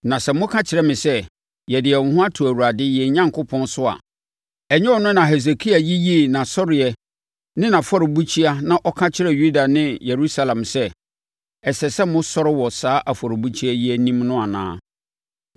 Na sɛ moka kyerɛ me sɛ, “Yɛde yɛn ho ato Awurade yɛn Onyankopɔn so” a, ɛnyɛ ɔno na Hesekia yiyii nʼasɔreɛ ne nʼafɔrebukyia na ɔka kyerɛɛ Yuda ne Yerusalem sɛ, “Ɛsɛ sɛ mosɔre wɔ saa afɔrebukyia yi anim no” anaa?